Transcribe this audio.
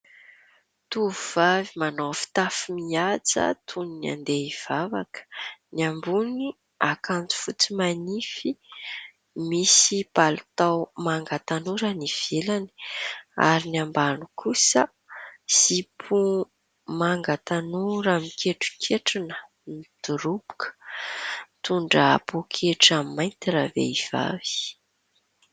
Tovovavy manao fitafy mihaja toy ny handeha hivavaka, ny ambonin'ny akanjo fotsy manify, misy palitao manga tanora ny ivelany ary ny ambany kosa zipo manga tanora miketroketrona midoroboka, mitondra poketra mainty ravehivavy.